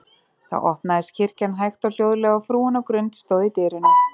Þá opnaðist kirkjan hægt og hljóðlega, og frúin á Grund stóð í dyrunum.